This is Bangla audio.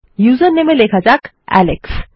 উসের name এ লেখা যাক আলেক্স